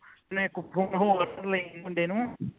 ਮੈਂ ਇਕ phone ਹੋਰ ਲਈ ਮੁੰਡੇ ਨੂੰ